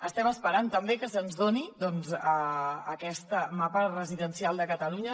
estem esperant també que se’ns doni aquest mapa residencial de catalunya